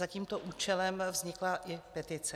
Za tímto účelem vznikla i petice.